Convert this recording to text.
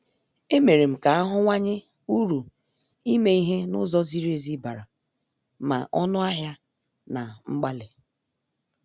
E merem ka ahuwanye uru ime ihe n' ụzọ ziri ezi bara ma ọnụ ahịa na mgbalị.